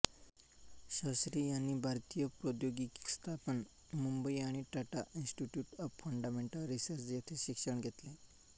शास्त्री यांनी भारतीय प्रौद्यौगिकी संस्थान मुंबई आणि Tata institute of fundamental research येथे शिक्षण घेतले